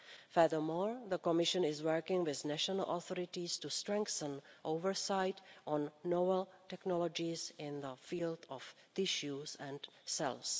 Furthermore, the Commission is working with national authorities to strengthen oversight on novel technologies in the field of tissues and cells.